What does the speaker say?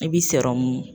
I bi sɔrɔ mun